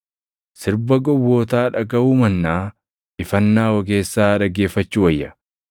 Sirba gowwootaa dhagaʼuu mannaa ifannaa ogeessaa dhaggeeffachuu wayya.